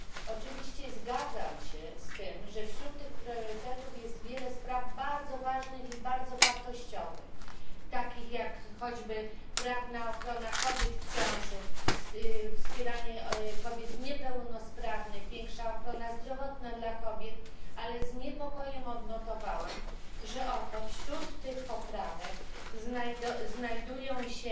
Oczywiście zgadzam się z tym, że wśród tych priorytetów jest wiele spraw bardzo ważnych i wartościowych, takich jak choćby prawna ochrona kobiet w ciąży, wspieranie kobiet niepełnosprawnych, większa ochrona zdrowotna dla kobiet, ale z niepokojem odnotowałam, że wśród tych poprawek znajdują się